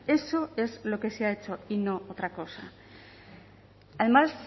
eso es lo que se ha hecho y no otra cosa además